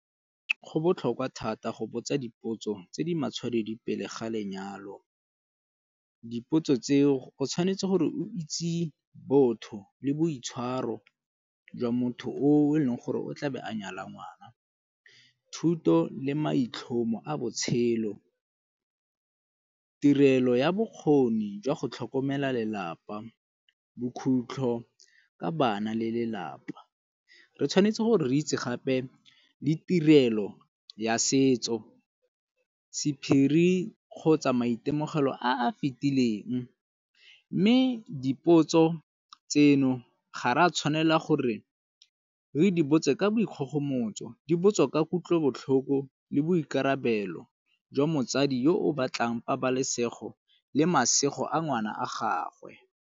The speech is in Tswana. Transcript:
Go botlhokwa thata go botsa dipotso tse di matshwanedi pele ga lenyalo. Dipotso tse o tshwanetse gore o itse botho le boitshwaro jwa motho o e leng gore o tla be a nyala ngwana. Thuto le maitlhomo a botshelo, tirelo ya bokgoni jwa go tlhokomela lelapa bokhutlho ka bana le lelapa. Re tshwanetse gore re itse gape le tirelo ya setso, sephiri kgotsa maitemogelo a a fitileng, mme dipotso tseno ga re a tshwanela gore re di botse ka boikgogomotso. Di botswa ka kutlobotlhoko le boikarabelo jwa motsadi yo o batlang pabalesego le masego a ngwana a gagwe.